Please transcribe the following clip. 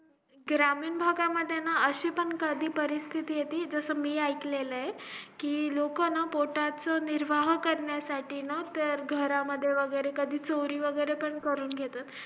ग्रामीण भागामध्ये अशी पण कधी परिस्तिथी येते जस मी ऐकलेले लोक ना पोटाचा निर्वाह करण्यासाठीना घरामध्ये वैगेरे कधी चोरी वैगेरे पण करून घेता